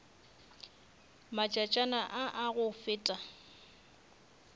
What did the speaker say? matšatšana a a go feta